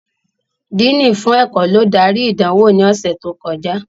Díìnì fún ẹ̀kọ́ ló darí ìdánwò ní ọ̀sẹ̀ tó kọjá